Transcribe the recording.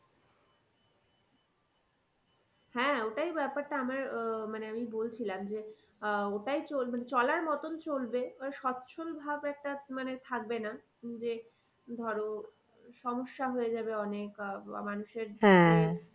হ্যাঁ ওটাই ব্যাপারটা আমার আহ মানে আমি বলছিলাম যে আহ ওটাই মানে চলার মতো চলবে মানে স্বচ্ছল ভাব একটা মানে থাকবে না যে ধরো সমস্যা হয়ে যাবে অনেক আহ